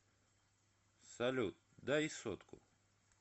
салют дай сотку